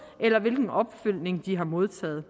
eller hvilken opfølgning de har modtaget